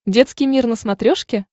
детский мир на смотрешке